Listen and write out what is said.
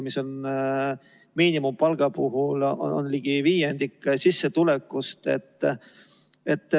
Miinimumpalga puhul on see ligi viiendik kuusissetulekust.